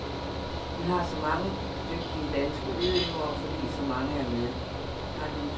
Vi har så mange dygtige danske udøvere, fordi så mange er med.